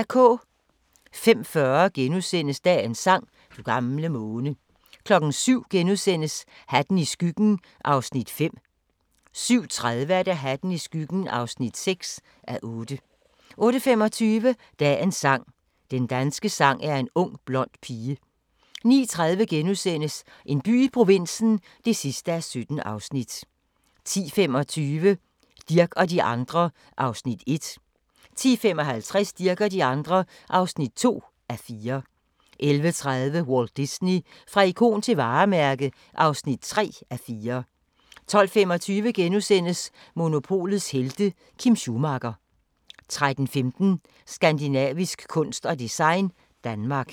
05:40: Dagens sang: Du gamle måne * 07:00: Hatten i skyggen (5:8)* 07:30: Hatten i skyggen (6:8) 08:25: Dagens sang: Den danske sang er en ung blond pige 09:30: En by i provinsen (17:17)* 10:25: Dirch og de andre (1:4) 10:55: Dirch og de andre (2:4) 11:30: Walt Disney – fra ikon til varemærke (3:4) 12:25: Monopolets helte - Kim Schumacher * 13:15: Skandinavisk kunst og design – Danmark